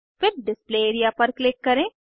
फिर display area पर click करें